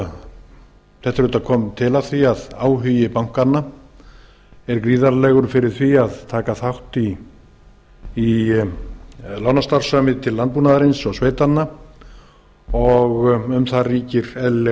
það kom til af því að áhugi bankanna var gríðarlegur fyrir því að taka þátt í lánastarfsemi til landbúnaðarins og sveitanna og um það ríkir eðlilega